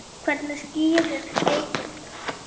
Hvernig skýrir Eyþór það?